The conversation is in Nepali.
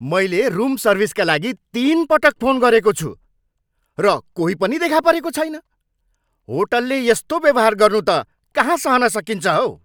मैले रुम सर्भिसका लागि तिनपटक फोन गरेको छु, र कोही पनि देखा परेको छैन! होटलले यस्तो व्यवहार गर्नु त कहाँ सहन सकिन्छ हौ।